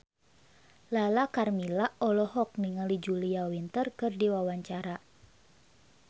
Lala Karmela olohok ningali Julia Winter keur diwawancara